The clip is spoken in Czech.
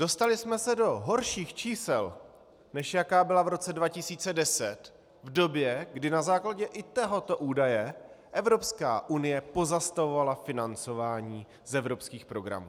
Dostali jsme se do horších čísel, než jaká byla v roce 2010, v době, kdy na základě i tohoto údaje Evropská unie pozastavovala financování z evropských programů.